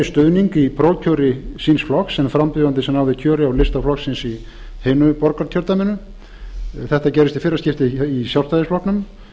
stuðning í prófkjöri síns flokks en frambjóðandi sem náði kjöri á lista flokksins í hinu borgarkjördæminu þetta gerðist í fyrra skiptið í sjálfstæðisflokknum